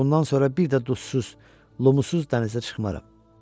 Bundan sonra bir də duzsuz, lumusuz dənizə çıxmaram.